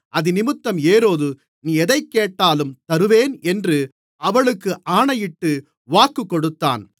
அதினிமித்தம் ஏரோது நீ எதைக்கேட்டாலும் தருவேன் என்று அவளுக்கு ஆணையிட்டு வாக்குக்கொடுத்தான்